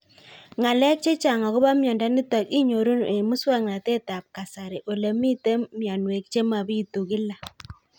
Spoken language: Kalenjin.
Ng'alek chechang' akopo miondo nitok inyoru eng' muswog'natet ab kasari ole mito mianwek che mapitu kila